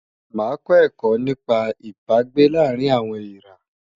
Màá kọ́ ẹ̀kọ́ nípa Ìbágbé láàárín àwọn èèrá.